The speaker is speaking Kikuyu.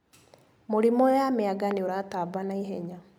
Mũrimũ ya mĩanga nĩũratamba ihenya.